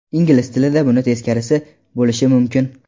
Ingliz tilida buni teskarisi bo‘lishi mumkin.